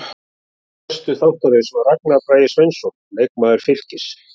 Gestur þáttarins var Ragnar Bragi Sveinsson, leikmaður Fylkis.